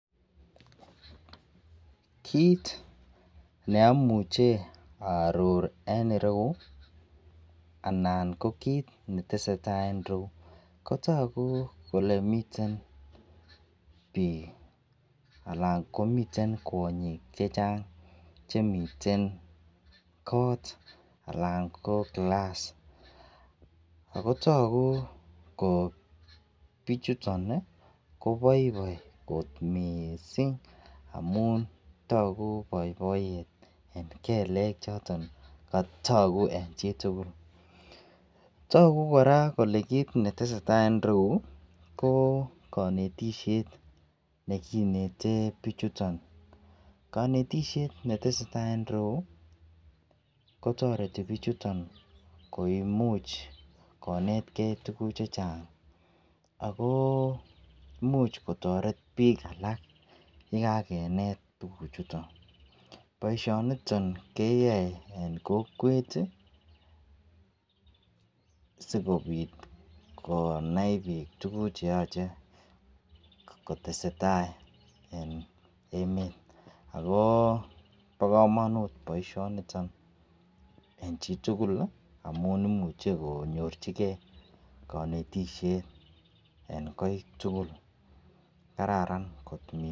Kit neamuche aror en ireyu anan ko kit netesetai en ireyu kotagu Kole miten bik anan komiten kwanyik chechang Chemiten anan ko class akotagu Kole bichuton kobaibaibkot mising amun tagu baibaiyet en kelekchotonbtagu en chitugul tagu kora Kole kit netesetai en ireyu ko kanetishet nekineten bichuton kanetishet netesetai en ireyu kotareti bichuton koimuch konetgei tuguk chechang ago imuch kotaret bik alak yekakenet tugu chuton baishoniton keyae en kokwet sikobit konai bik tuguk cheyache kotestai en emet ago ba kamanut baishoniton en chitugul amun imuche konyorchigei kanetishet en Koi tugul kararan kot mising